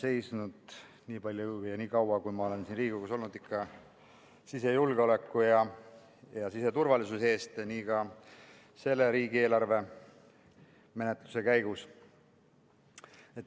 Eks ma ole nii kaua, kui ma olen siin Riigikogus olnud, seisnud ikka sisejulgeoleku ja siseturvalisuse eest, nii ka selle riigieelarve menetluse käigus.